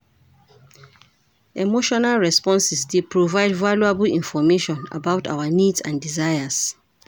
Emotional responses dey provide valuable information about our needs and desires,.